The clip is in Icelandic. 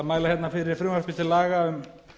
mæla hérna fyrir frumvarpi til laga um